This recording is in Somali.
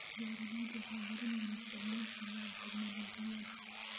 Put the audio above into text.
Beeraleydu waxay baranayaan isticmaalka bayotechnoolajiyada.